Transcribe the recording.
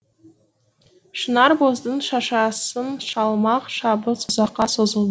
шынарбоздың шашасын шалмақ шабыс ұзаққа созыл